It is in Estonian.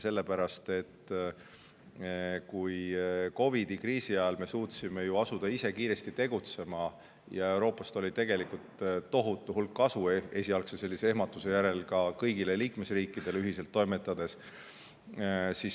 Sellepärast, et COVID‑i kriisi ajal me suutsime ju ise asuda kiiresti tegutsema ja Euroopa Liidust oli tegelikult esialgse ehmatuse järel tohutu hulk kasu ka kõikidele liikmesriikidele, kuna me toimetasime ühiselt.